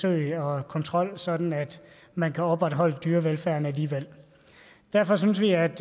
og kontrol sådan at man kan opretholde dyrevelfærden alligevel derfor synes vi at